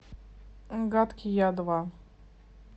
гадкий я два